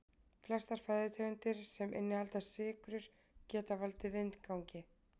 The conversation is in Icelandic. Flestar fæðutegundir sem innihalda sykrur geta valdið vindgangi.